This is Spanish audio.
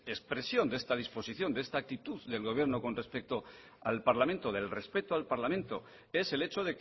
expresión de esta disposición de esta actitud del gobierno con respeto al parlamento del respeto al parlamento es el hecho